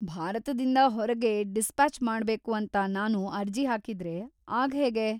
ಭಾರತದಿಂದ ಹೊರಗೆ ಡಿಸ್ಪ್ಯಾಚ್‌ ಮಾಡ್ಬೇಕು ಅಂತ ನಾನು ಅರ್ಜಿ ಹಾಕಿದ್ರೆ ಆಗ ಹೇಗೆ?